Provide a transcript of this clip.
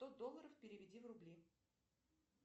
сто долларов переведи в рубли